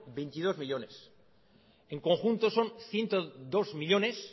veintidós millónes en conjunto son ciento dos millónes